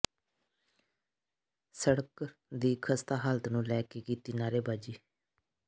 ਸੜਕ ਦੀ ਖ਼ਸਤਾ ਹਾਲਤ ਨੂੰ ਲੈ ਕੇ ਕੀਤੀ ਨਾਅਰੇਬਾਜ਼ੀ